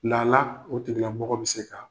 Lala o tigilamɔgɔ bɛ se ka